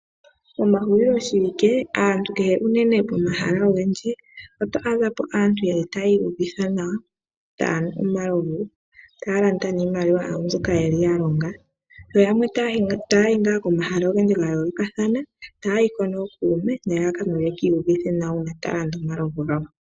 Momahuliloshiwike pomahala ogendji oto adha po aantu tayi iyuvitha nawa taya nu omalovu, taya landa niimaliwa yawo mbyoka ya longa, yo yamwe taya yi ngaa komahala ogendji ga yoolokathana taya yi ko nookuume nelalakano yeki iyuvithe nawa uuna taya landa omalovu gawo.